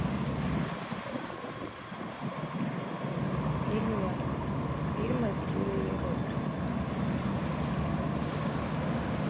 фильмы с джулией робертс